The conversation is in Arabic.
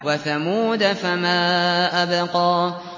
وَثَمُودَ فَمَا أَبْقَىٰ